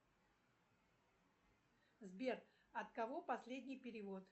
сбер от кого последний перевод